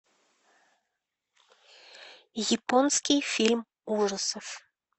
японский фильм ужасов